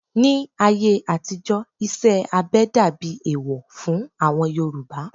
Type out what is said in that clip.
Ní ayé àtijó, iṣẹ́ abẹ dàbí ẹ̀ẹ̀wọ̀ fún àwọn Yorùbá